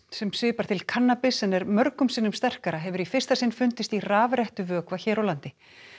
sem svipar til kannabis en er mörgum sinnum sterkara hefur í fyrsta sinn fundist í rafrettuvökva hér á landi